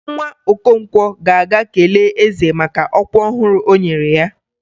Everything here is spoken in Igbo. Nwa Okonkwo ga-aga kelee eze maka ọkwa ọhụrụ e nyere ya.